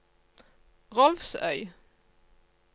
Rolvsøy